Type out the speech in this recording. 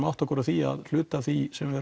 að átta okkur á því að hluti af því sem við